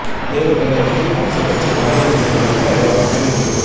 தேவா் நினைவிடத்தில் அரசியல் கட்சிகள் மரியாதை செலுத்த நேர விவரம் அறிவிப்பு